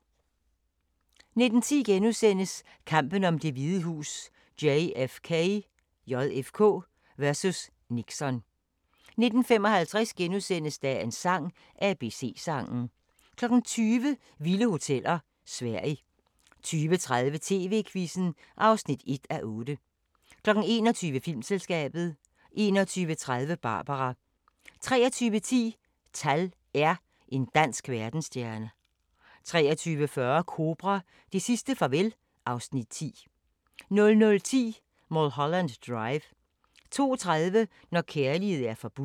19:10: Kampen om Det Hvide Hus: JFK vs. Nixon * 19:55: Dagens sang: ABC-sangen * 20:00: Vilde hoteller: Sverige 20:30: TV-Quizzen (1:8) 21:00: Filmselskabet 21:30: Barbara 23:10: TAL R – En dansk verdensstjerne 23:40: Kobra – det sidste farvel (Afs. 10) 00:10: Mulholland Drive 02:30: Når kærlighed er forbudt